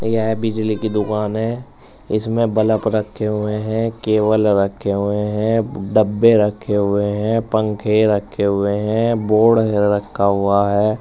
यह बिजली की दुकान है। इसमें बलप रखे हुए हैं केबल रखे हुए हैं ब् डब्बे रखे हुए हैं पंखे रखे हुए हैं बोर्ड ह् रखा हुआ है।